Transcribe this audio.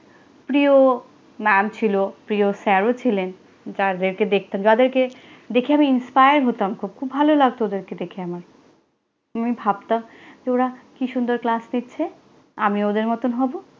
প্রিয় ম্যাম ছিল, প্রিয় স্যারও ছিলেন। যাঁদেরকে দেখতাম, যাঁদেরকে দেখে আমি inspire হতাম খুব। খুব ভালো লাগতো ওদেরকে দেখে আমার। আমি ভাবতাম, ওঁরা কি সুন্দর ক্লাস নিচ্ছে, আমিও ওদের মতন হবো।